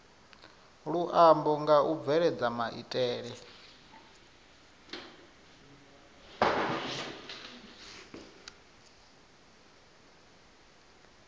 luambo nga u bveledza maitele